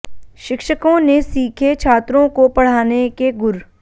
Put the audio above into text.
शिक्षकों ने सीखे छात्रों को पढ़ाने के गुर